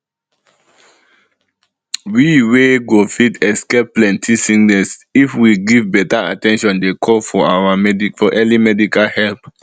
we we go fit escape plenty sickness if we give beta at ten tion dey call for early medical help